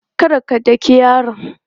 Kar ka daki yaron!